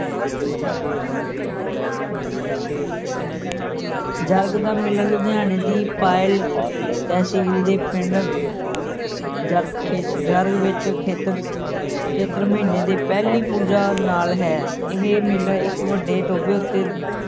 ਜਰਗ ਦਾ ਮੇਲਾ ਲੁਧਿਆਣੇ ਦੀ ਤਹਿਸੀਲ ਦੇ ਪਿੰਡ ਜਰਗ ਖੇ ਜਰਗ ਵਿੱਚ ਖੇਤਰ ਚੇੇਤਰ ਮਹੀਨੇ ਦੇ ਪਹਿਲੀ ਪੂਜਾ ਨਾਲ ਹੈ, ਇਹ ਮੇਲਾ ਇੱਕ ਵੱਡੇ ਟੋਭੇ ਉੱਤੇ